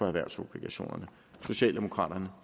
erhvervsobligationerne socialdemokraterne